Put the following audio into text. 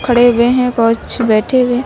खड़े हुए हैं कुछ बैठे हुए हैं।